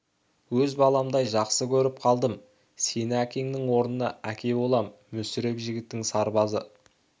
өз баламдай жақсы көріп қалдым сені әкеңнің орнына әке болам мүсіреп жігіттің сырбазы